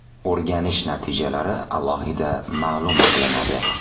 O‘rganish natijalari alohida ma’lum qilinadi.